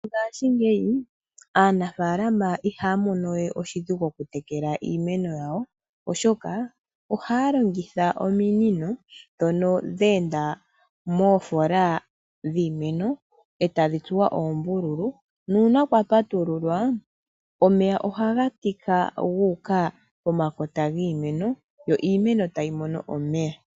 Mongashingeyi aanfalama ihaya mono we oshidhigu oku tekela iimeno yawo, oshoka ohaya longitha ominino dhoka dha enda moofola dhiimeno, etadhi tsuwa oombululu, nuuna kwa patululwa, omeya ohaga tika guuka po makota giimeno, yo iimeno tayi mono omeya.